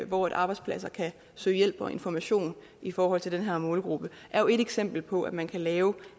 hvor arbejdspladser kan søge hjælp og information i forhold til den her målgruppe er et eksempel på at man kan lave